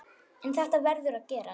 En þetta verður að gerast.